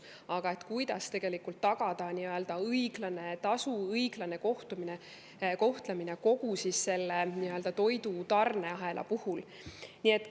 Aga kuidas tagada õiglane tasu ja õiglane kohtlemine kogu selle toidutarneahela puhul?